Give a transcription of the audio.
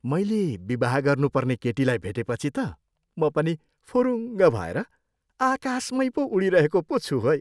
मैले विवाह गर्नुपर्ने केटीलाई भेटेपछि त म पनि फुरुङ्ग भएर आकाशमैँ पो उडिरहेको पो छु है।